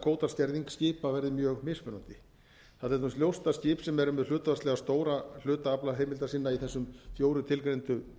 að kvótaskerðing skipa verði mjög mismunandi það er til dæmis ljóst að skip sem eru með hlutfallslega stóran hluta aflaheimilda sinna í þessum fjórum tilgreindu